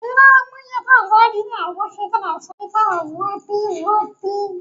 Jinaren jinya suna taka muhimmiyar rawa a cikin tsarin kiwon lafiya ta hanyar kulawa da lafiyar marasa lafiya da walwala.